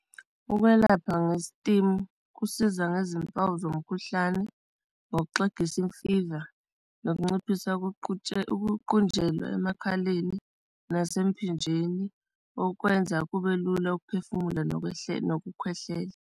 Ukwelapha nge-steam kusiza ngezimpawu zomkhuhlane ngokuxegisa imfiva, nokunciphisa ukuqunjelwa emakhaleni, nasemphinjeni okwenza kube lula ukuphefumula nokwehlela, nokukhwehlela.